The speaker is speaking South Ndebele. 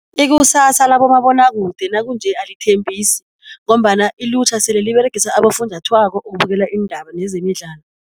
Ikusasa labomabonwakude nakunje alithembisi ngombana ilutjha sele liberegisa abofunjathwako ukubukela iindaba nezemidlalo.